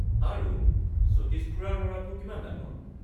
আৰু, সতীশ খুৰাৰ ল’ৰাটো কিমান ডাঙৰ?